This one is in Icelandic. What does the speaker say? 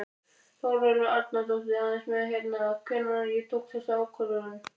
Þórólfur Árnason: Aðeins með hérna, hvenær ég tók þessa ákvörðun?